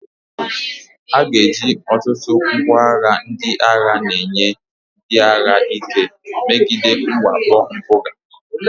A ga-eji ọtụtụ ngwa agha ndị agha na-enye ndị agha ike megide mwakpo mpụga.